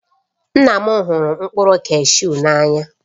Nne m hụrụ mkpụrụ kashu n'anya